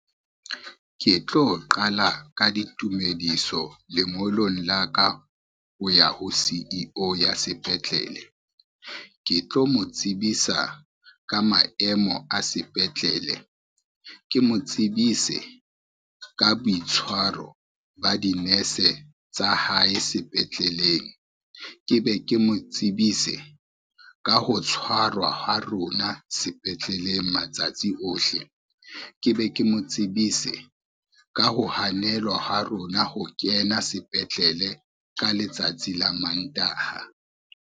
Ke tlo qala ka ditumediso lengolong la ka, ho ya ho C_E_O ya sepetlele. Ke tlo mo tsebisa ka maemo a sepetlele, ke mo tsebise ka boitshwaro ba dinese tsa hae sepetleleng, ke be ke mo tsebise ka ho tshwarwa ha rona sepetleleleng matsatsi ohle, ke be ke mo tsebise ka ho hanelwa ha rona ho kena sepetlele ka letsatsi la Mantaha.